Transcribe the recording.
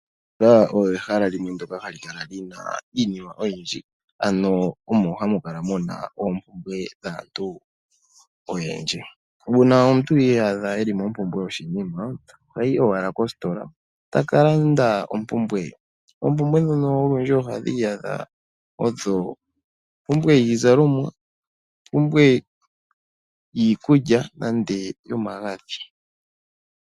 Ositola oyo ehala limwe ndoka hali kala lina iinima oyindji, ano omo hamu kala muna oompumbwe dhaantu oyendji. Uuna omuntu iyadha eli mompumbwe yoshinima, ohayi owala kositola taka landa ompumbwe ye. Ompumbwe dhono olundji ohadhi iyadha odho ompumbwe yiizalomwa, ompumbwe yiikulya nenge yomagadhi.